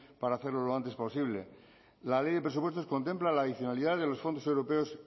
para hacerlo lo antes posible la ley de presupuestos contempla la adicionalidad de los fondos europeos